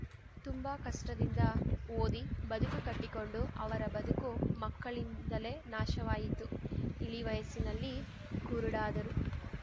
ತುಂಬಾ ಕಷ್ಟದಿಂದ ಓದಿ ಬದುಕು ಕಟ್ಟಿಕೊಂಡು ಅವರ ಬದುಕು ಮಕ್ಕಳಿಂದಲೇ ನಾಶವಾಯಿತು ಇಳಿ ವಯಸ್ಸಿನಲ್ಲಿ ಕುರುಡರಾದರು